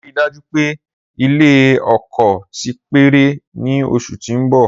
Rii daju pe ilẹ-oko ti parẹ ni oṣu ti n bọ.